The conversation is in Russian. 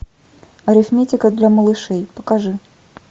арифметика для малышей покажи